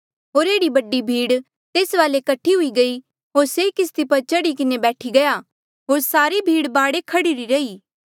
होर एह्ड़ी बडी भीड़ तेस वाले कठी हुई गयी होर से किस्ती पर चढ़ी किन्हें बैठी गया होर सारी भीड़ बाढे खह्ड़िरी रही